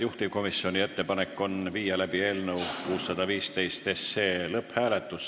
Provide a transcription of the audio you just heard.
Juhtivkomisjoni ettepanek on viia läbi eelnõu 615 lõpphääletus.